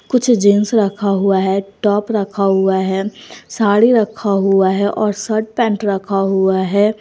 कुछ जींस रखा हुआ है टॉप रखा हुआ है साड़ी रखा हुआ है और शर्ट पैंट रखा हुआ है।